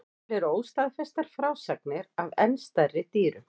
Til eru óstaðfestar frásagnir af enn stærri dýrum.